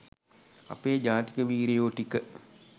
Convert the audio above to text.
අපේ ජාතික වීරයෝ ටික